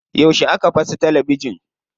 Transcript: Yauce aka fasa talabijin?